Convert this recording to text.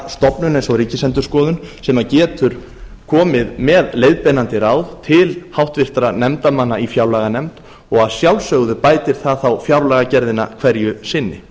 eins og ríkisendurskoðun sem getur komið með leiðbeinandi ráð til háttvirtra nefndarmanna í fjárlaganefnd og að sjálfsögðu bætir þá fjárlagagerðina hverju sinni